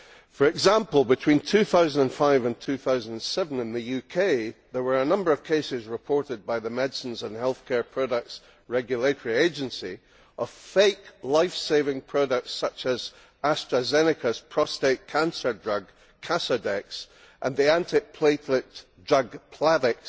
For example, between 2005 and 2007 in the UK, there were a number of cases reported by the Medicines and Healthcare Products Regulatory Agency of fake lifesaving products, such as AstraZeneca's prostrate cancer drug, Casodex, and the antiplatelet drug, Plavix,